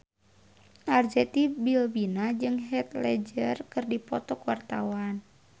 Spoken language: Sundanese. Arzetti Bilbina jeung Heath Ledger keur dipoto ku wartawan